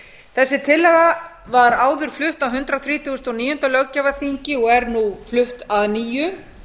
þessi tillaga var áður flutt á hundrað þrítugasta og níunda löggjafarþingi og er nú flutt að nýju